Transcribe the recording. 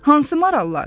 Hansı marallar?